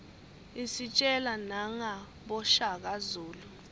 isitjela nangaboshaka zulu